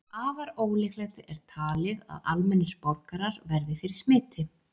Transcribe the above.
Afar ólíklegt er talið að almennir borgarar verði fyrir smiti.